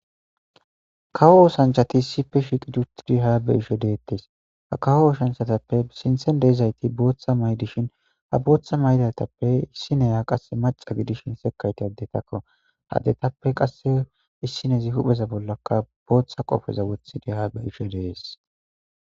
Kawo osanchati sife shiqi dutidi haabe isho deettes ha kawo osanchatappe sinthen deezayti booththa maydishin ha booththa maydatappe issineya qasse maca gidishin sekayti addetakko hadetappe qasse issinezi hupheza bollaka booththa qofeza wothidi haabe isho dees.